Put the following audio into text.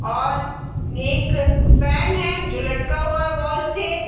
और नेक अ फेन है जो लटका हुआ है वाल से |